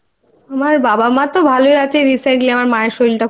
আমার বাবা মা তো ভালই আছে . Recently মায়ের